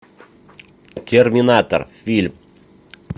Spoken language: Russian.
терминатор фильм